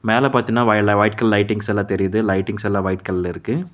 மேல பாத்தினா வாயல்லா வைட் கலர் லைட்டிங்ஸ் எல்லா தெரியிது லைட்டிங்ஸ் எல்லா வைட் கல்ல இருக்கு.